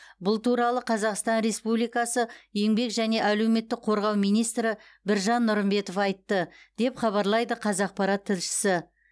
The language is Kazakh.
бұл туралы қазақстан республикасы еңбек және әлеуметтік қорғау министрі біржан нұрымбетов айтты деп хабарлайды қазақпарат тілшісі